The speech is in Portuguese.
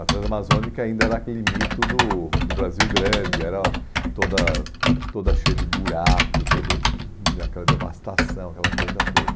A Transamazônica ainda era aquele mito do do Brasil grande, era toda toda cheia de buraco, toda aquela devastação, aquela coisa toda.